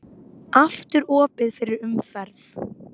Aftur opið fyrir umferð